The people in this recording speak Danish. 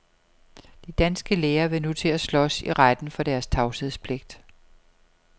De danske læger vil nu til at slås i retten for deres tavshedspligt.